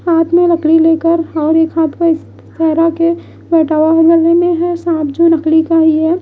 हाथ में लकड़ी लेकर और एक हाथ में सेहरा के वाले में है सांप जो लकड़ी का ही है।